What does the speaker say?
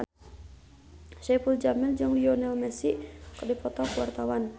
Saipul Jamil jeung Lionel Messi keur dipoto ku wartawan